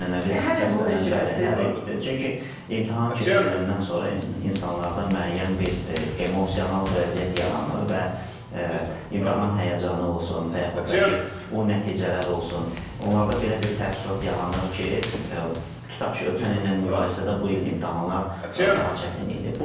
Ənənəvi səslənən bəli, hər il, çünki imtahan keçiriləndən sonra insanlarda müəyyən bir emosional vəziyyət yaranır və imtahan həyəcanı olsun və yaxud da ki, o nəticələr olsun, onlarda belə bir təəssürat yaranır ki, tutaq ki, ötən illə müqayisədə bu il imtahanlar daha çətin idi.